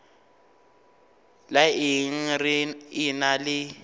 la eng re ena le